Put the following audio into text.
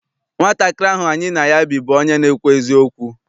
Nwatakịrị ahụ any na ya bi bụ onye na-ekwu eziokwu.